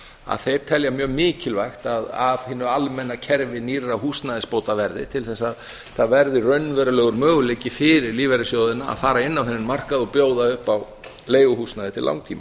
að þeir telja mjög mikilvægt að af hinu almenna kerfi nýrra húsnæðisbóta verði til þess að það verði raunverulegur möguleiki fyrir lífeyrissjóðina að fara inn á þennan markað og bjóða upp á leiguhúsnæði til langtíma